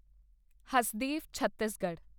Hasdeo Chhattisgarh